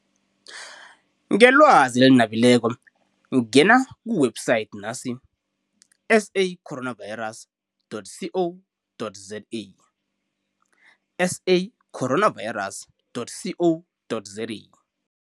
Ngelwazi eli nabileko ngena ku-website nasi, S A coronavirus dot C O dot Z A, S A coronavirus dot C O dot Z A.